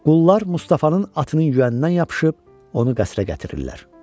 Qullar Mustafanın atının yüyənindən yapışıb onu qəsrə gətirirlər.